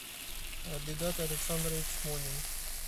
абидат александрович монин